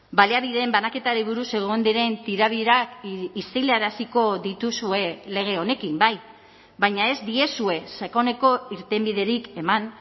baliabideen banaketari buruz egon diren tirabirak isilaraziko dituzue lege honekin bai baina ez diezue sakoneko irtenbiderik eman